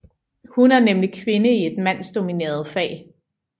Hun er nemlig kvinde i et mandsdomineret fag